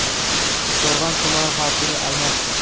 Qumqo‘rg‘on tumani hokimi almashdi.